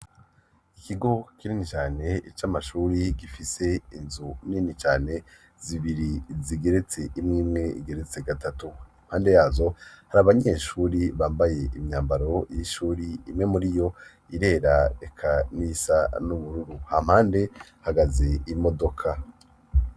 Ikigo kinini cane c'amashuri gifise inzu nini cane, zibiri zigeretse imwe imwe igeretse gatatu. impande yazo, hari abanyeshuri bambaye imyambaro y'ishuri imwe muri yo irera eka n'iyisa n'ubururu. Ha mpande, hahagaze imodoka.